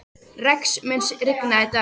Rex, mun rigna í dag?